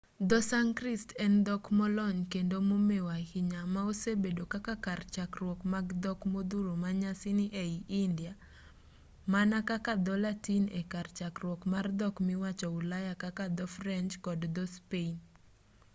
dho-sanskrit en dhok molony kendo momeu ahinya ma osebedo kaka kar chakruok mag dhok modhuro manyasani ei india mana kaka dho-latin e kar chakruok mar dhok miwacho ulaya kaka dho-french kod dho-spain